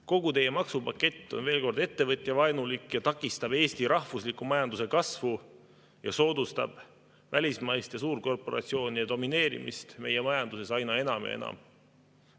Kogu teie maksupakett on, veel kord, ettevõtjavaenulik, mis takistab Eesti rahvusliku majanduse kasvu ja soodustab välismaiste suurkorporatsioonide domineerimist meie majanduses aina enam ja enam.